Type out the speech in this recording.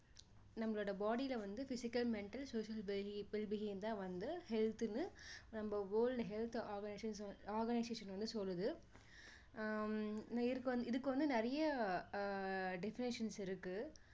நம்மளோட body ல வந்து physical mental social wel~wellbeing தான் வந்து health ன்னு நம்ம world health organis~organisation வந்து சொல்லுது ஆஹ் இதுக்~இதுக்கு வந்து நிறைய அஹ் definitions இருக்கு